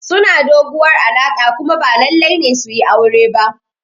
Suna doguwar alaƙa kuma ba lallai ne su yi aure ba.